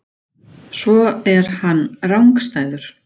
Svo er hann rangstæður.